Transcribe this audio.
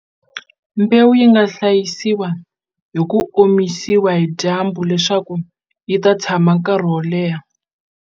Mbewu yi nga hlayisiwa hi ku omisiwa hi dyambu leswaku yi ta tshama nkarhi wo leha.